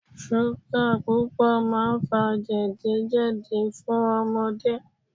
Súgà púpọ̀ máa ń fa jẹ̀dí jẹ̀dí fún ọmọdé.